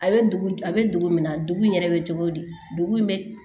A bɛ dugu a bɛ dugu min na dugu in yɛrɛ bɛ cogo di dugu in bɛ